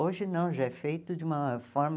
Hoje não, já é feito de uma forma...